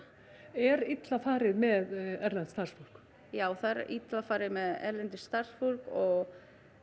er illa farið með erlent starfsfólk já það er illa farið með erlent starfsfólk og